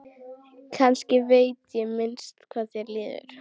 Kannski veit ég minnst hvað þér líður.